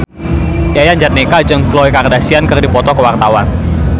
Yayan Jatnika jeung Khloe Kardashian keur dipoto ku wartawan